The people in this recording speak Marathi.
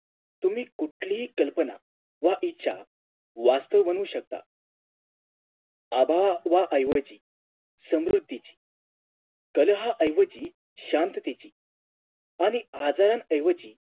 तुम्ही कुठलीही कल्पना वा इच्छा वास्तव बनवू शकता आभावा आठवा ऐवजी समृद्धीची कलहा ऐवजी शांततेची आणि आजारानं ऐवजी